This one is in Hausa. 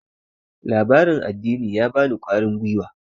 labaran addini ya bani kwarin gwiwa